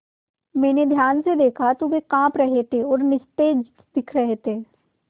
मैंने ध्यान से दखा तो वे काँप रहे थे और निस्तेज दिख रहे थे